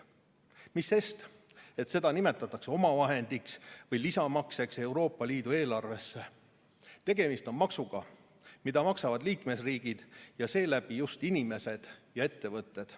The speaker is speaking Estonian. Mis sellest, et seda nimetatakse omavahendiks või lisamakseks Euroopa Liidu eelarvesse – tegemist on maksuga, mida maksavad liikmesriigid ja seeläbi just inimesed ja ettevõtted.